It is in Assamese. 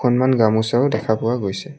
ইমান গামোচাও দেখা পোৱা গৈছে।